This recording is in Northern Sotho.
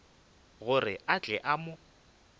gore a tle a mo